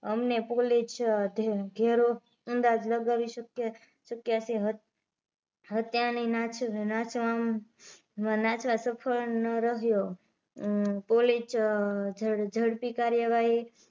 અમને પોલીસ ધેરો અંદાજ લગાવી શક્ય શક્ય છે હત્યા ની નાસવા નાસવા સફળ ન રહ્યો પોલીસ ઝડપી કાર્યવાહી